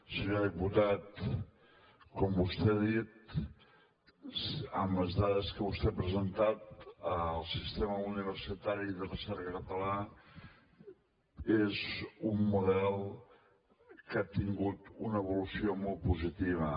senyor diputat com vostè ha dit amb les dades que vostè ha presentat el sistema universitari de recerca català és un model que ha tingut una evolució molt positiva